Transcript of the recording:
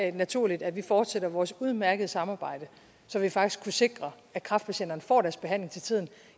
ikke naturligt at vi fortsatte vores udmærkede samarbejde så vi faktisk kunne sikre at kræftpatienterne får deres behandling til tiden